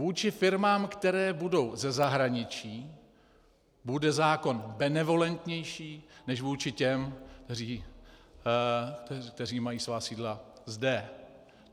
Vůči firmám, které budou ze zahraničí, bude zákon benevolentnější než vůči těm, kteří mají svá sídla zde.